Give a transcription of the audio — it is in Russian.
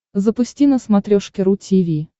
запусти на смотрешке ру ти ви